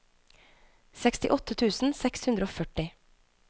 sekstiåtte tusen seks hundre og førti